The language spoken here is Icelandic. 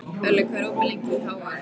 Elli, hvað er opið lengi í HR?